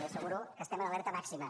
li asseguro que estem en alerta màxima